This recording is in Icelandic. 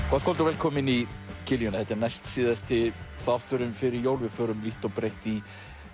gott kvöld og velkomin í kiljuna þetta er næstsíðasti þátturinn fyrir jól við förum vítt og breitt í